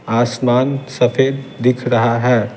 आसमान सफेद दिख रहा है।